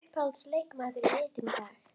Uppáhalds leikmaður í liðinu í dag?